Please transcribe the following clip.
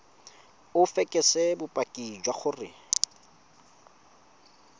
o fekese bopaki jwa gore